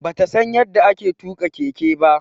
Bata San yadda ake tuka Keke ba.